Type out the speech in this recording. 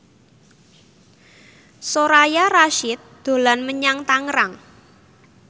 Soraya Rasyid dolan menyang Tangerang